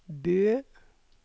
Bø